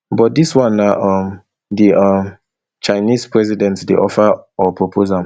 but dis one na um di um chinese president dey offer or propose am